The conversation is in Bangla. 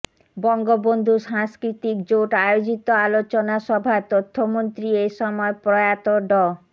বঙ্গবন্ধু সাংস্কৃতিক জোট আয়োজিত আলোচনা সভায় তথ্যমন্ত্রী এ সময় প্রয়াত ড